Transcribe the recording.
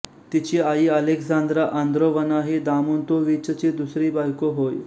तिची आई आलेक्सांद्रा आंद्रोवना ही दोमोंतोविचची दुसरी बायको होय